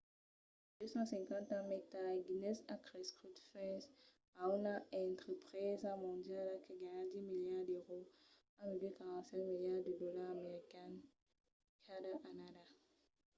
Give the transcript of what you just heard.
250 ans mai tard guinness a crescut fins a una entrepresa mondiala que ganha 10 miliards d’èuros 14,7 miliards de dolars americans cada annada